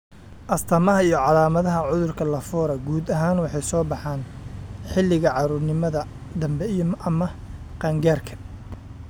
Astaamaha iyo calaamadaha cudurka Lafora guud ahaan waxay soo baxaan xilliga carruurnimada dambe ama qaan-gaarka.